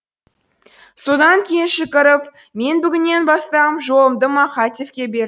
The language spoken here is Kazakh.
содан кейін шүкіров мен бүгіннен бастам жолымды мақатевқа бердім